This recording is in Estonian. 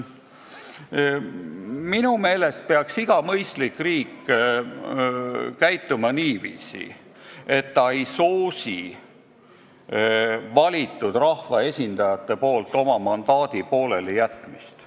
Minu meelest peaks iga mõistlik riik käituma niiviisi, et ta ei soosi seda, et valitud rahvaesindajad oma mandaadist poole peal loobuvad.